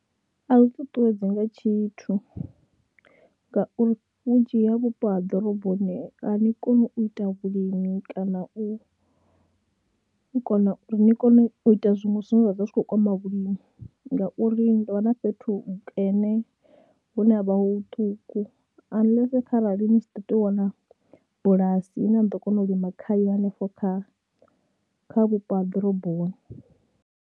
A zwi ṱuṱuwedzi nga tshithu ngauri vhunzhi ha vhupo ha ḓoroboni a ni koni u ita vhulimi kana u kona uri ni kone u ita zwiṅwe zwine zwa ḓo vha zwi khou kwama vhulimi ngauri ni tou vha na fhethu hukene hune ha vha hu huṱuku unless kharali ni tshi ḓo tea u wana bulasi ine a ḓo kona u lima khayo hanefho kha vhupo ha ḓoroboni.